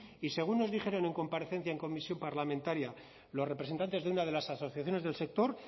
y según nos dijeron en comparecencia en comisión parlamentaria los representantes de una de las asociaciones del sector